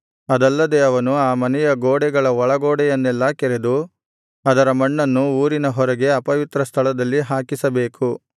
ಅದಲ್ಲದೆ ಅವನು ಆ ಮನೆಯ ಗೋಡೆಗಳ ಒಳಗೋಡೆಯನ್ನೆಲ್ಲಾ ಕೆರೆದು ಅದರ ಮಣ್ಣನ್ನು ಊರಿನ ಹೊರಗೆ ಅಪವಿತ್ರ ಸ್ಥಳದಲ್ಲಿ ಹಾಕಿಸಬೇಕು